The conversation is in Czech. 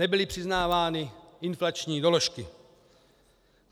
Nebyly přiznávány inflační doložky.